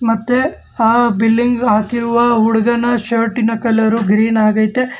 ಮತ್ತೆ ಆ ಬಿಲ್ಲಿಂಗ್ ಹಾಕಿರುವ ಹುಡುಗನ ಶರ್ಟಿನ ಕಲರ್ ಗ್ರೀನ್ ಆಗೈತೆ.